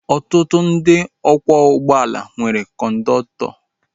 Ọtụtụ ndị ọkwọ ụgbọala nwere kọndọktọ